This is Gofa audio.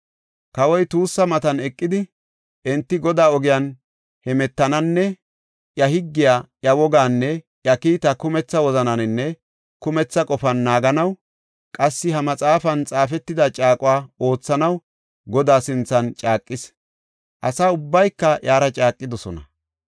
Kawoy tuussa matan eqidi, enti Godaa ogiyan hemetananne, iya higgiya, iya wogaanne iya kiita kumetha wozananine kumetha qofan naaganaw, qassi ha maxaafan xaafetida caaquwa oothanaw Godaa sinthan caaqis. Asa ubbayka iyara caaqidosona.